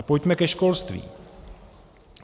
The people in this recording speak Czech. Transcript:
A pojďme ke školství.